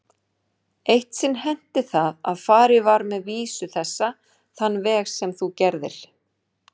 Eitt sinn henti það að farið var með vísu þessa þann veg sem þú gerðir.